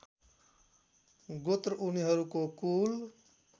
गोत्र उनीहरूको कुल